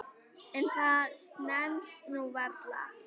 En það stenst nú varla.